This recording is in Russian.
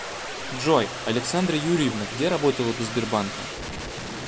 джой александра юрьевна где работала до сбербанка